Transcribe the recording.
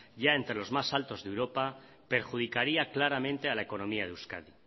ya entre los más altos de europa perjudicaría claramente a la economía de euskadi